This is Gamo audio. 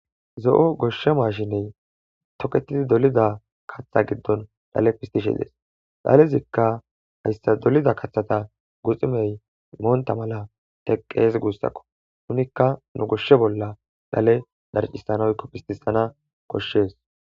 Zo7o gosha maashiney tokettidi dolida katha giddon dhale pisttishe dees. Dhalezikka hayssa dolida kathata guxuney montta mala teqqees guussako. Nunikka nu goshe bolla dhale dharccissana woykko pisttissana koshees.